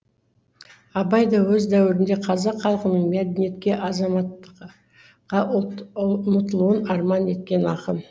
абай да өз дәуірінде қазақ халқының мәдениетке азаматтыққа ұмтылуын арман еткен ақын